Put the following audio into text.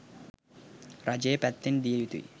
රජය පැත්තෙන් දිය යුතුයි.